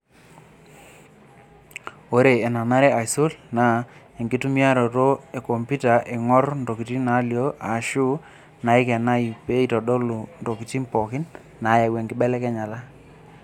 Ore enanare aisul naa enkitumiaroto e kompita eingor ntokitin naalio aashu naikenayu pee eitodolu ntokitin pookin naayau nkibelekenyat.